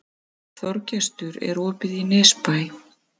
Þorgestur, er opið í Nesbæ?